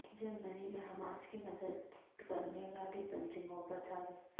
جرمنی میں حماس کی مدد کرنے والی تنظیموں پر دھاوے